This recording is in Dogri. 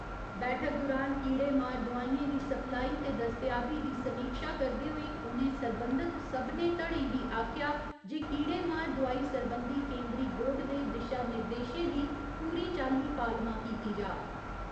बैठक दुरान कीड़े मार दोआइयें दी सप्लाई ते दस्तेयाबी दी समीक्षा करदे होई उ'नें सरबंधित सभनें धड़ें गी आखेआ जे कीड़ेमार दोआई सरबंधी केंदरी बोर्ड दे दिशा निर्देशें दी पूरी चाल्ली पालमा कीती जा।